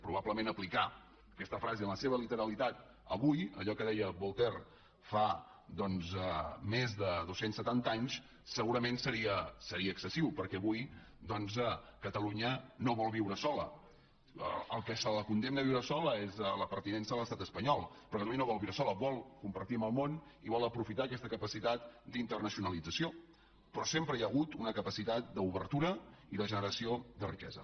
probablement aplicar aquesta frase en la seva literalitat avui allò que deia voltaire fa més de dos cents i setanta anys segurament seria excessiu perquè avui doncs catalunya no vol viure sola el que la condemna a viure sola és la pertinença a l’estat espanyol però catalunya no vol viure sola vol compartir amb el món i vol aprofitar aquesta capacitat d’internacionalització però sempre hi ha hagut una capacitat d’obertura i de generació de riquesa